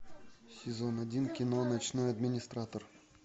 сезон один кино ночной администратор